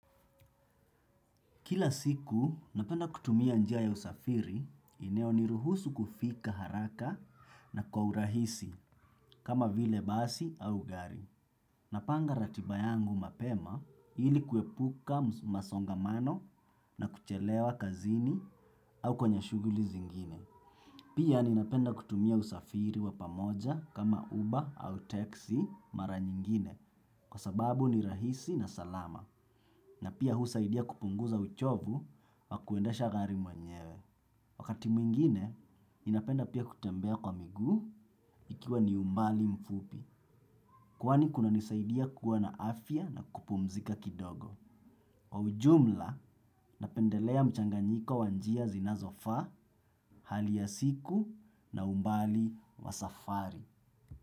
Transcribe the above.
Kila siku, napenda kutumia njia ya usafiri, inayoniruhusu kufika haraka na kwa urahisi kama vile basi au gari. Napanga ratiba yangu mapema ili kuepuka masongamano na kuchelewa kazini au kwenye shughuli zingine. Pia ninapenda kutumia usafiri wa pamoja kama uber au teksi mara nyingine kwa sababu ni rahisi na salama. Na pia husaidia kupunguza uchovu wa kuendesha gari mwenyewe. Wakati mwingine, ninapenda pia kutembea kwa miguu ikiwa ni umbali mfupi. Kwani kunanisaidia kuwa na afya na kupumzika kidogo. Kwa ujumla, napendelea mchanganyiko wa njia zinazofaa, hali ya siku na umbali wa safari.